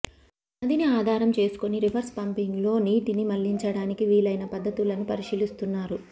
నదిని ఆధారం చేసుకుని రివర్స్ పంపింగ్లో నీటిని మళ్లించడానికి వీలైన పద్ధతులను పరిశీలిస్తున్నారు